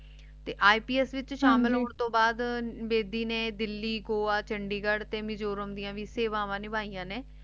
ਤੇ ਇੰਪਸ ਵਿਚ ਹਨ ਜੀ ਸ਼ਾਮਿਲ ਨੇ ਦਿੱਲੀ ਗੋਆ ਚੰਡੀਗੜ੍ਹ ਦੀ ਭੀ ਸੇਵਾਵਾਂ ਨਿਭਾਈਆਂ ਨੇ